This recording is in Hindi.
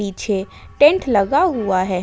पीछे टेंट लगा हुआ है।